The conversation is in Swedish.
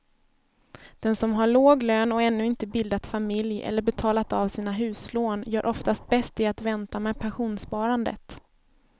Den som har låg lön och ännu inte bildat familj eller betalat av sina huslån gör oftast bäst i att vänta med pensionssparandet.